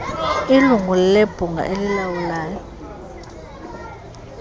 ilungu lebhunga elilawulayo